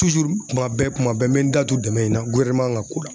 Tuzuru kuma bɛɛ kuma bɛɛ n be n da tu dɛmɛ in na guwɛrineman ka ko la